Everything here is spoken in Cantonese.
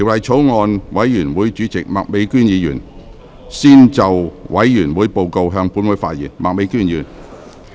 法案委員會主席麥美娟議員先就委員會報告，向本會發言。